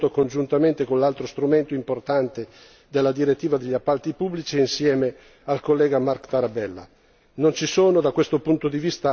Questo è stato possibile grazie al lavoro svolto congiuntamente con l'altro strumento importante, la direttiva appalti pubblici, insieme al collega Marc Tarabella.